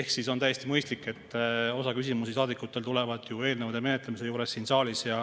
Ehk siis on täiesti mõistlik, et osa küsimusi tulevad saadikutel eelnõude menetlemise ajal siin saalis.